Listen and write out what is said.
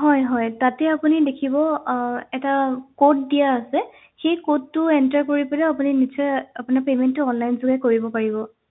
হয় হয় তাতে আপুনি দেখিব আহ এটা code দিয়া আছে সেই code টো enter কৰি পেলাইও আপুনি নিশ্চয় আপোনাৰ payment টো online যোগে কৰিব পাৰিব